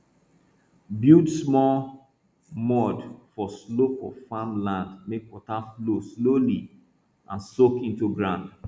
build small mound for slope of farm land make water flow slowly and soak into ground